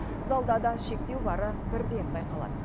залда да шектеу бары бірден байқалады